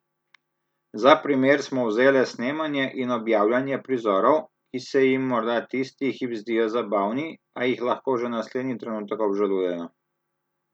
Za primer smo vzele snemanje in objavljanje prizorov, ki se jim morda tisti hip zdijo zabavni, a jih lahko že naslednji trenutek obžalujejo.